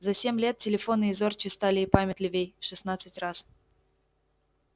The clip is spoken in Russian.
за семь лет телефоны и зорче стали и памятливей в шестнадцать раз